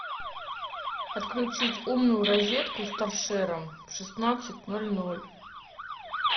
отключить умную розетку с торшером в шестнадцать ноль ноль